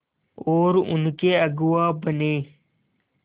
और उनके अगुआ बने